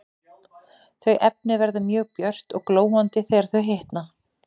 Þau efni verða mjög björt og glóandi þegar þau hitna.